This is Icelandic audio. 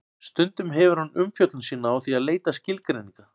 Stundum hefur hann umfjöllun sína á því að leita skilgreininga.